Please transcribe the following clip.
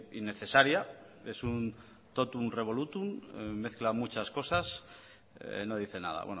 innecesaria es un totum revolutum mezcla muchas cosas no dice nada